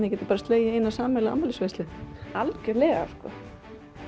þið getið bara slegið í eina sameiginlega afmælisveislu algjörlega sko